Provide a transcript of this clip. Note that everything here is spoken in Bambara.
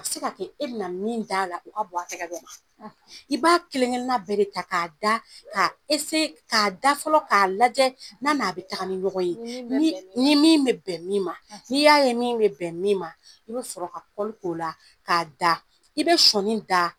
A bɛ se k'a kɛ e bɛna min da la o ka bon a tigɛ bɛ ma. , I b'a kelenkelenna bɛɛ de ta k'a da , k'a , k'a da fɔlɔ, k'a lajɛ, n'a n'a bɛ taa ni ɲɔgɔn ye, ni min bɛ bɛn min ma, ni min bɛ bɛn min ma, . N'i y'a ye min bɛ bɛn min ma, i bɛ sɔrɔ ka k'ɔ la, k'a da. I bɛ sɔni da .